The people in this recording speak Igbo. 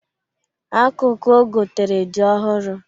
Akụkụ ogotere dị ọhụrụ.